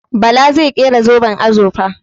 Bala zai kera zoben azurfa.